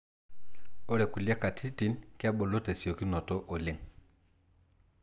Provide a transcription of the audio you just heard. Ore kulie katitin kebulu tesiokinoto oleng.